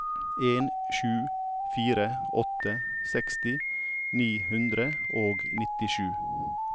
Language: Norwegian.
en sju fire åtte seksti ni hundre og nittisju